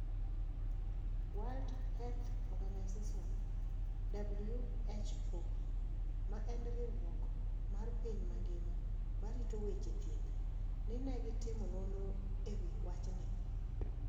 World Health Organization (WHO), ma en riwruok mar piny mangima marito weche thieth ni ne gitimo nonro e wi wachni?